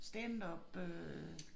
Standup øh